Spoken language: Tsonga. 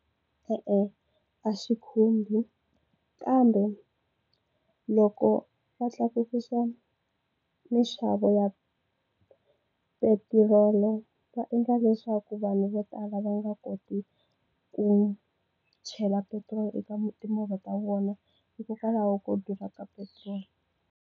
E-e, a xi khumbi kambe loko va tlakusa mixavo ya petirolo va endla leswaku vanhu vo tala va nga koti ku chela petiroli eka timovha ta vona hikokwalaho ko durha ka petrol.